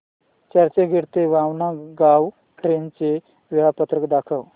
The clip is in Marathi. चर्चगेट ते वाणगांव ट्रेन चे वेळापत्रक दाखव